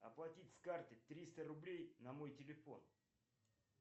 оплатить с карты триста рублей на мой телефон